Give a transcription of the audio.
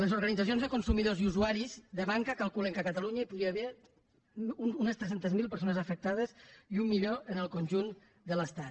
les organitzacions de consumidors i usuaris de banca calculen que a catalunya hi podria haver unes tres cents miler persones afectades i un milió en el conjunt de l’estat